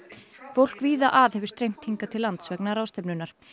fólk víða að hefur streymt hingað til lands vegna ráðstefnunnar